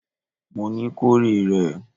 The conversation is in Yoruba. Mo ní, kó rè rẹ̀!